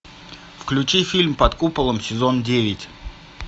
включи фильм под куполом сезон девять